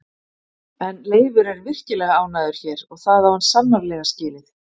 En Leifur er virkilega ánægður hér og það á hann sannarlega skilið.